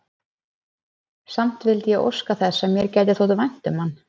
Samt vildi ég óska þess, að mér gæti þótt vænt um hann.